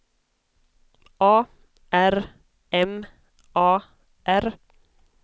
A R M A R